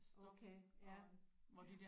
Okay ja ja